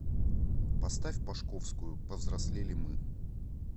поставь пашковскую повзрослели мы